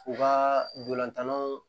U ka dolantanlon